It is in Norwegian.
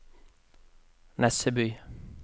Nesseby